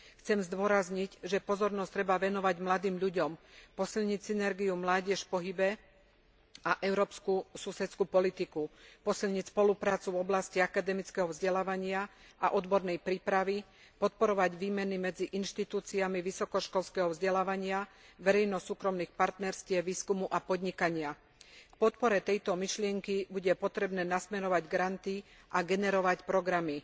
Chcem zdôrazniť, že pozornosť treba venovať mladým ľuďom, posilniť synergiu Mládež v pohybe a Európsku susedskú politiku, posilniť spoluprácu v oblasti akademického vzdelávania a odbornej prípravy, podporovať výmeny medzi inštitúciami vysokoškolského vzdelávania, verejno súkromných partnerstiev výskumu a podnikania, k podpore tejto myšlienky bude potrebné nasmerovať granty a generovať programy.